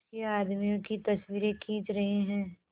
उसके आदमियों की तस्वीरें खींच रहे हैं